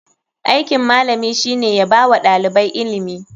Aikin malami shine yabawa ɗalibai ilimi.